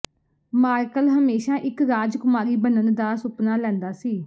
ਮਾਰਕਲ ਹਮੇਸ਼ਾ ਇੱਕ ਰਾਜਕੁਮਾਰੀ ਬਣਨ ਦਾ ਸੁਪਨਾ ਲੈਂਦਾ ਸੀ